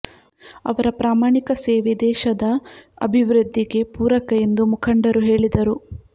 ಅವರ ಪ್ರಾಮಾಣಿಕ ಸೇವೆ ದೇಶದ ಅಭಿವೃದ್ಧಿಗೆ ಪೂರಕ ಎಂದು ಮುಖಂಡರು ಹೇಳಿದರು